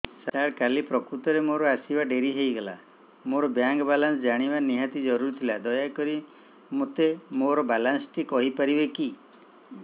ସାର କାଲି ପ୍ରକୃତରେ ମୋର ଆସିବା ଡେରି ହେଇଗଲା ମୋର ବ୍ୟାଙ୍କ ବାଲାନ୍ସ ଜାଣିବା ନିହାତି ଜରୁରୀ ଥିଲା ଦୟାକରି ମୋତେ ମୋର ବାଲାନ୍ସ ଟି କହିପାରିବେକି